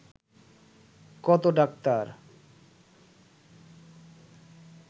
কত ডাক্তার